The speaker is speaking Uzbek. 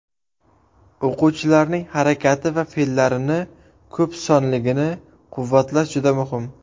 O‘quvchilarning harakati va fe’llarini ko‘p sonligini quvvatlash juda muhim.